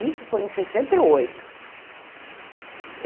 Isso foi em sessenta e oito.